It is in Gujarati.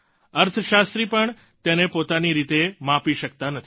અર્થશાસ્ત્રી પણ તેને પોતાની રીતે માપી શકતા નથી